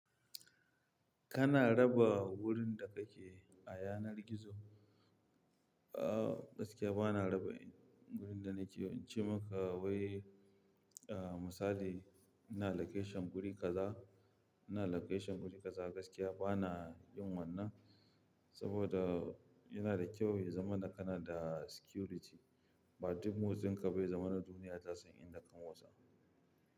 Kana raba wurin da kake a yanar gizo? Ah gaskiya bana raba wurin da nake, in ce maka wai ah misali ina location guri kaza, ina location guri kaza gaskiya bana yin wannan. Saboda yana da kyau yi zamana kana da security, ba duk motsin ka ba yazama na duniya ta son inda ka motsa.